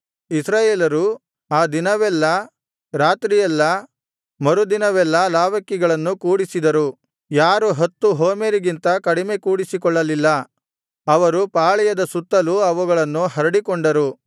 ಇಸ್ರಾಯೇಲರು ಆ ದಿನವೆಲ್ಲಾ ರಾತ್ರಿಯೆಲ್ಲಾ ಮರುದಿನವೆಲ್ಲಾ ಲಾವಕ್ಕಿಗಳನ್ನು ಕೂಡಿಸಿದರು ಯಾರು ಹತ್ತು ಹೋಮೆರಿಗಿಂತ ಕಡಿಮೆ ಕೂಡಿಸಿಕೊಳ್ಳಲಿಲ್ಲ ಅವರು ಪಾಳೆಯದ ಸುತ್ತಲೂ ಅವುಗಳನ್ನು ಹರಡಿಕೊಂಡರು